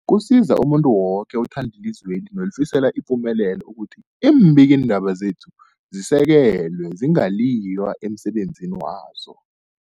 Kusiza umuntu woke othanda ilizweli nolifisela ipumelelo ukuthi iimbikiindaba zekhethu zisekelwe, zingaliywa emsebenzini wazo.